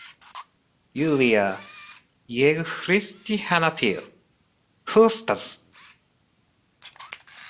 Júlía, ég hristi hana til, hlustaðu!